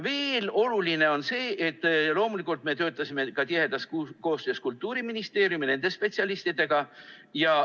Veel on oluline see, et me töötasime loomulikult tihedas koostöös Kultuuriministeeriumi spetsialistidega.